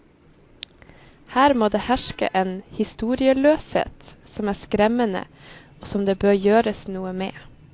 Her må det herske en historieløshet som er skremmende og som det bør gjøres noe med.